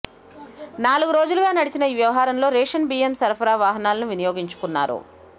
నాలుగు రోజులుగా నడిచిన ఈ వ్యవహారంలో రేషన్ బియ్యం సరఫరా వాహనాలను వినియోగించుకున్నారు